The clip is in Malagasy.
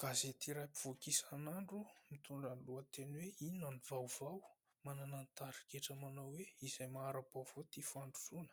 Gazety iray mpivoaka isan'andro, mitondra ny lohateny hoe Inona no Vaovao : manana ny tarigetra manao hoe "Izay mahara-baovao, tia fandrosoana" ;